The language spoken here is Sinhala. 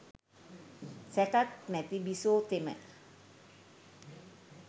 සැකක් නැති බිසෝ තෙම